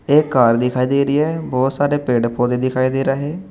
एक कार दिखाई दे रही है बहुत सारे पेड़ पौधे दिखाई दे रहे हैं।